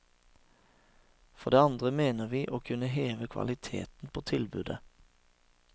For det andre mener vi å kunne heve kvaliteten på tilbudet.